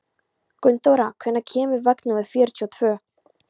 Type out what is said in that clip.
Gunnþóra, hvenær kemur vagn númer fjörutíu og tvö?